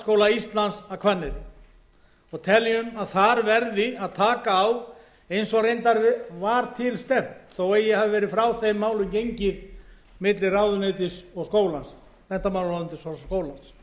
bændaskóla íslands að hvanneyri og teljum að þar verði að taka á eins og reyndar var til stefnt þó að eigi hafi verið frá þeim málum gengið milli menntamálaráðuneytis og skólans þar